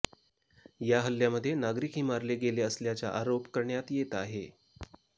या हल्ल्यामध्ये नागरीकही मारले गेले असल्याचा आरोप करण्यात येत आहे